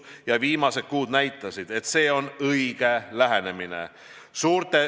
Ja viimased kuud on näidanud, et see on õige lähenemine.